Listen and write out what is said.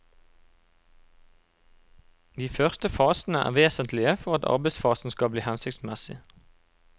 De første fasene er vesentlige for at arbeidsfasen skal bli hensiktsmessig.